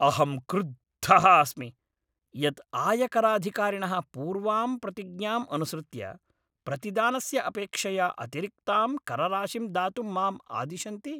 अहं क्रुद्धः अस्मि यत् आयकराधिकारिणः पूर्वाम् प्रतिज्ञाम् अनुसृत्य प्रतिदानस्य अपेक्षया अतिरिक्तां करराशिं दातुं माम् आदिशन्ति।